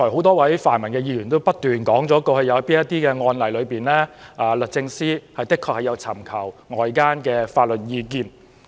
多位泛民議員剛才也不斷重複提出某些案例，指律政司確曾就此尋求外間法律意見。